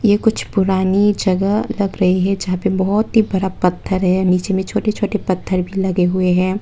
कुछ पुरानी जगह लग रही है जहां पे बहोत ही बड़ा पत्थर है नीचे में छोटे छोटे पत्थर भी लगे हुए हैं।